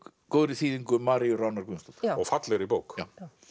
góðri þýðingu Maríu Ránar Guðmundsdóttur og fallegri bók